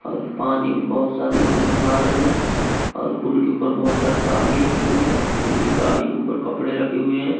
और पानी में बहुत सारे लोग नहा रहे हैं और पुल के ऊपर बहुत सारी गाड़ी रखी हुई है जो की गाड़ी के ऊपर कपड़े रखे हुए हैं।